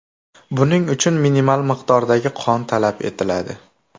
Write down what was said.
Buning uchun minimal miqdordagi qon talab etiladi.